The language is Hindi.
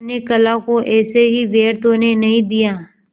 अपने कला को ऐसे ही व्यर्थ होने नहीं दिया